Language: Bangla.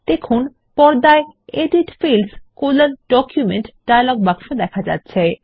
দেখুন পর্দায় এডিট Fields ডকুমেন্ট ডায়লগ বাক্স দেখা যাচ্ছে